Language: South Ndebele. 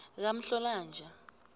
kamhlolanja